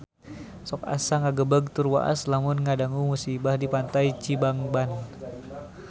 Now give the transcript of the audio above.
Sok asa ngagebeg tur waas lamun ngadangu musibah di Pantai Cibangban